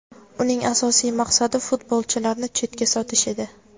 Uning asosiy maqsadi futbolchilarni chetga sotish edi.